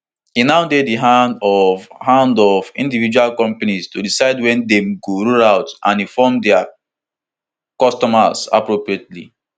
e now dey di hand of hand of individual companies to decide wen dem go roll out and inform dia customers appropriately